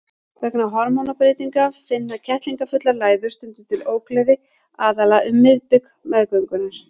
Vegna hormónabreytinga finna kettlingafullar læður stundum til ógleði, aðallega um miðbik meðgöngunnar.